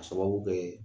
A sababu kɛ